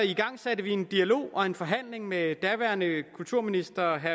igangsatte vi en dialog og en forhandling med daværende kulturminister